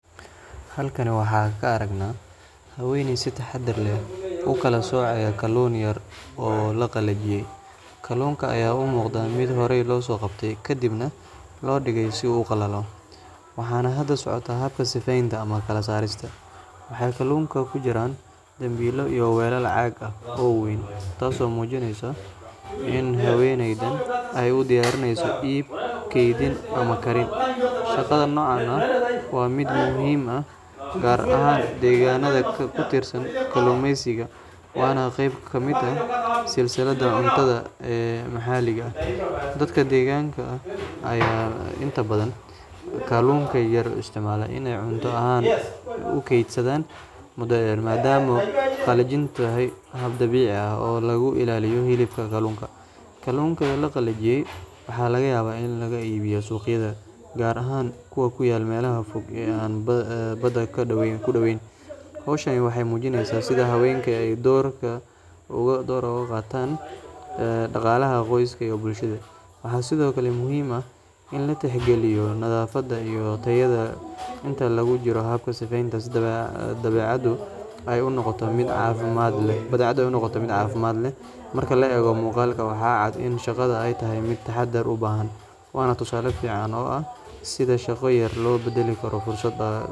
Halkan waxaan ka aragnaa haweeney si taxaddar leh u kala soocaysa kalluun yar oo la qalajiyey. Kalluunkan ayaa u muuqda mid horey loo soo qabtay, kadibna loo dhigay si uu u qalalo, waxaana hadda socota habka sifeynta ama kala saarista. Waxay kalluunku ku jiraan dambiilo iyo weelal caag ah oo waaweyn, taasoo muujinaysa in haweeneydan ay u diyaarinayso iib, kaydin, ama karin. Shaqada noocan ah waa mid muhiim ah gaar ahaan deegaanada ku tiirsan kalluumeysiga, waana qeyb ka mid ah silsiladda cuntada ee maxalliga ah. Dadka deegaanka ayaa inta badan kalluunka yar u isticmaala in ay cunto ahaan u kaydsadaan muddo dheer, maadaama qalajintu tahay hab dabiici ah oo lagu ilaaliyo hilibka kalluunka. Kalluunkan la qalajiyey waxaa laga yaabaa in lagu iibiyo suuqyada, gaar ahaan kuwa ku yaal meelaha fog ee aan badda ku dhoweyn. Hawshan waxay muujinaysaa sida haweenka ay doorkooda uga qaataan dhaqaalaha qoysaska iyo bulshada. Waxaa sidoo kale muhiim ah in la tixgeliyo nadaafadda iyo tayada inta lagu jiro habka sifeynta si badeecadu ay u noqoto mid caafimaad qabta. Marka la eego muuqaalka, waxaa cad in shaqada ay tahay mid taxaddar u baahan, waana tusaale fiican oo ah sida shaqo yar loo beddeli karo fursad dhaqaale.